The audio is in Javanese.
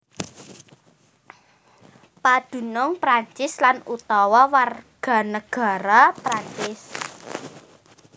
Padunung Prancis lan utawa warganegara Prancis